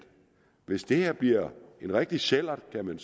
hvis det her bliver en rigtig sællert som man